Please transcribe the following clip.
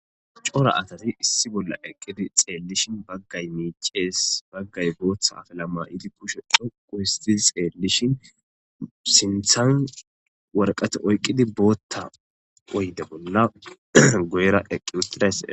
Cora asati issi bolla ekidi xallishin baggay micces baggay booththa afilla maayidi kushshe dhoqqu ooththidi xelishin sinththan waraqqata oyqqidi boththa oyde bolla guyera eqidase.